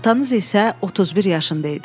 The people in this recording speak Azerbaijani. Atanız isə 31 yaşında idi.